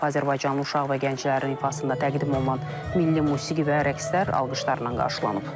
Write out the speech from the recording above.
Azərbaycanlı uşaq və gənclərin ifasında təqdim olunan milli musiqi və rəqslər alqışlarla qarşılanıb.